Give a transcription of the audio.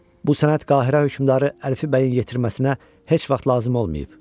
Bu sənət Qahirə hökmdarı Əlfi bəyin yetirməsinə heç vaxt lazım olmayıb.